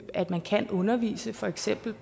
at man kan undervise i for eksempel